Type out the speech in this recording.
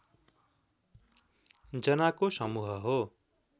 जनाको समूह हो